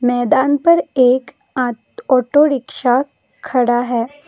मैदान पर एक आट ऑटो रिक्शा खड़ा है।